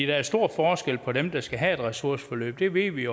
der er stor forskel på dem der skal have et ressourceforløb det ved vi